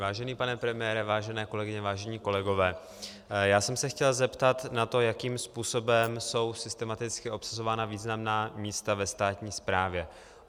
Vážený pane premiére, vážené kolegyně, vážení kolegové, já jsem se chtěl zeptat na to, jakým způsobem jsou systematicky obsazována významná místa ve státní správě.